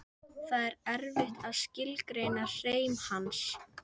Það er erfitt að skilgreina hreim hans.